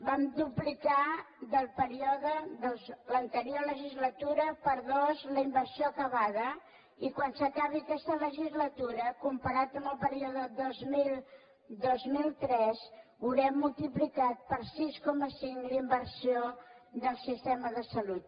vam duplicar del període de l’anterior legislatura per dos la inversió acabada i quan s’acabi aquesta legislatura comparat amb el període dos mil dos mil tres haurem multiplicat per sis coma cinc la inversió del sistema de salut